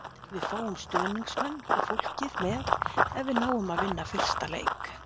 Við fáum stuðningsmenn og fólkið með ef við náum að vinna fyrsta leik.